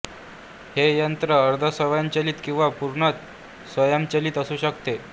हे यंत्र अर्धस्वयंचलित किंवा पूर्णतः स्वयंचलित असू शकते